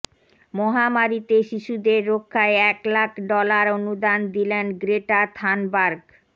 মহামারিতে শিশুদের রক্ষায় এক লাখ ডলার অনুদান দিলেন গ্রেটা থানবার্গ